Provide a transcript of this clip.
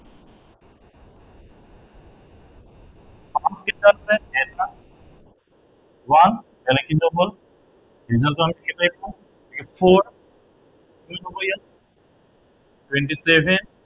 one কেইটা আছে, এটা one এনেই কেইটা হল result টো আমি কেনেদৰে পাম a four কি হব ইয়াত twenty seven